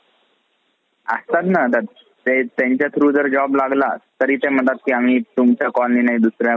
असतात ना ते त्यांच्या through जर job लागला तरी ते म्हणतात कि